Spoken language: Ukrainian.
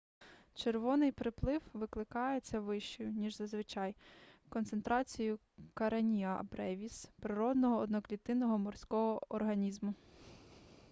червоний приплив викликається вищою ніж зазвичай концентрацією кареніа бревіс природного одноклітинного морського організму